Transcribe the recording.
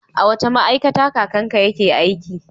A wace ma'aikata kakanka yake aiki?